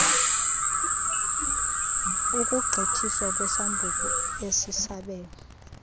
ukugqithiswa kwesambuku esisabelo